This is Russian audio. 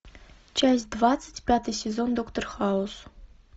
часть двадцать пятый сезон доктор хаус